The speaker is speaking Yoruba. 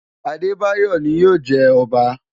Adebayor ni yóò jẹ ọba.